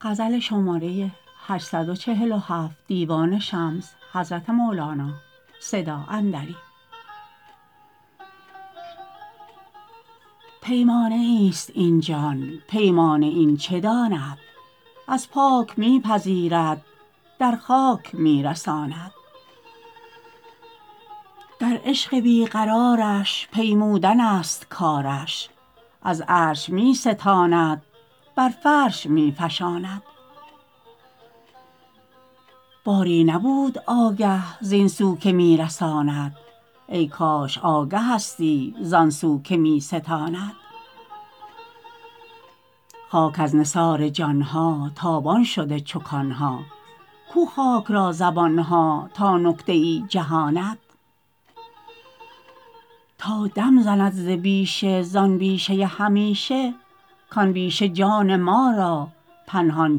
پیمانه ایست این جان پیمانه این چه داند از پاک می پذیرد در خاک می رساند در عشق بی قرارش بنمودنست کارش از عرش می ستاند بر فرش می فشاند باری نبود آگه زین سو که می رساند ای کاش آگهستی زان سو که می ستاند خاک از نثار جان ها تابان شده چو کان ها کو خاک را زبان ها تا نکته ای جهاند تا دم زند ز بیشه زان بیشه همیشه کان بیشه جان ما را پنهان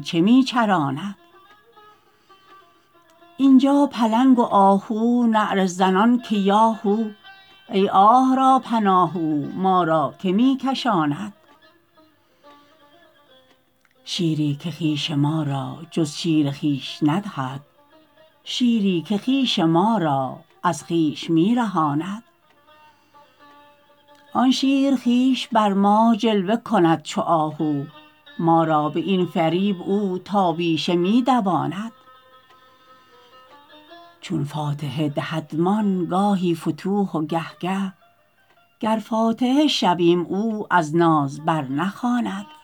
چه می چراند این جا پلنگ و آهو نعره زنان که یا هو ای آه را پناه او ما را که می کشاند شیری که خویش ما را جز شیر خویش ندهد شیری که خویش ما را از خویش می رهاند آن شیر خویش بر ما جلوه کند چو آهو ما را به این فریب او تا بیشه می دواند چون فاتحه دهدمان گاهی فتوح و گه گه گر فاتحه شویم او از ناز برنخواند